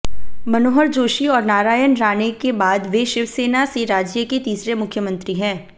मनोहर जोशी और नारायण राणे के बाद वे शिवसेना से राज्य के तीसरे मुख्यमंत्री हैं